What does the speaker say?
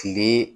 Kile